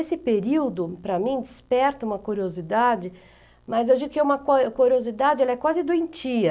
Esse período, para mim, desperta uma curiosidade, mas eu digo que uma curio curiosidade ela é quase doentia.